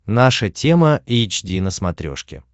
наша тема эйч ди на смотрешке